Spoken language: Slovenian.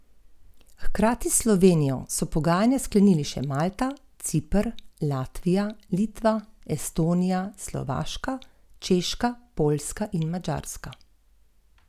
Ob koncu tretje četrtine je Sandi Čebular povedel Rogaško v vodstvo.